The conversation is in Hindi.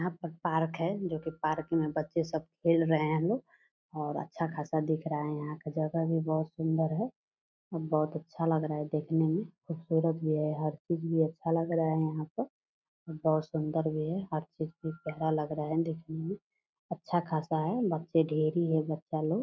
यहाँ पर पार्क है जो की पार्क मे बच्चे सब खेल रहे हैं लोग और अच्छा खासा दिख रहा है यहाँ का जगह भी बहत सुन्दर है बहुत अच्छा लग रहा है देखने मे खूबसूरत भी है हर चीज भी अच्छा लग रहा है यहाँ पर बहत सुन्दर भी है हर चीज भी प्यारा लग रहा है देखने मे अच्छा खासा है बच्चे ढ़ेरी है बच्चा लोग।